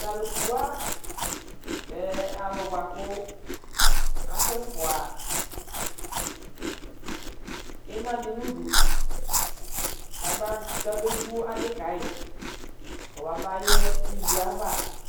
talukuwa lɛ alubuaku asɛ fua imadi nudu kabe vu adi kai kɔbabayɛ ilua ava